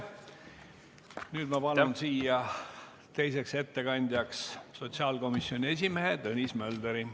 Nüüd ma palun siia teiseks ettekandjaks sotsiaalkomisjoni esimehe Tõnis Möldri.